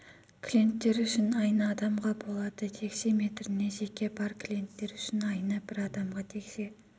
клиенттер үшін айына адамға болады текше метріне жеке бар клиенттер үшін айына бір адамға текше